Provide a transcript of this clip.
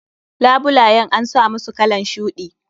Labulayen an samusu kalan shuɗi.